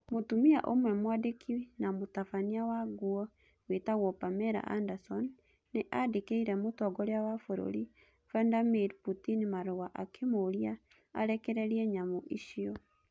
Mũtumia ũmwe mwandĩki na mũtabania wa nguo wĩtagũo Pamela Anderson nĩ aandĩkĩire Mũtongoria wa Bũrũri Vladimir Putin marũa akĩmũũria arekereria nyamũ icio.